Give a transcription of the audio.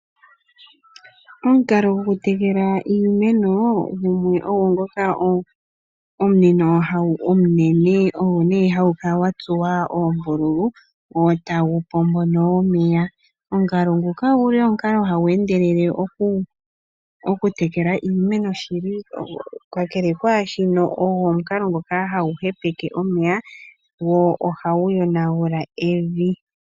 Omukalo gwoku tekula iimeno ogwo ngoka omu uumwno uunene owo hawu kala watsuwa oombululu wo tawu pombo nee omeya. Omukalo nguka oguli omukalo hagu endelele okutekela iimeno kakele kwaashono ogo omukalo ngoka hagu hepeke omeya go ohagu yonagula evi.